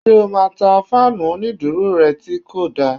Ṣé o máa ta fáànù onídúró rẹ tí kò da?